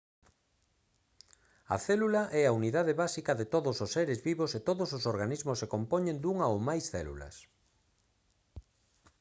a célula é a unidade básica de todos os seres vivos e todos os organismos se compoñen dunha ou máis células